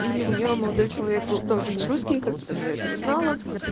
и у нее молодой человек был тоже нерусский как потом я это узнала